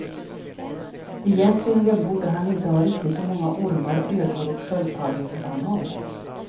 Egentligen borde han inte ha riktigt så många ormar, ödlor och sköldpaddor som han har.